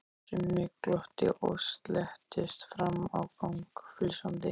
Simmi glotti og slettist fram á gang flissandi.